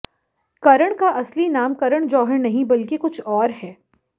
करण का असली नाम करण जौहर नहीं बल्कि कुछ और है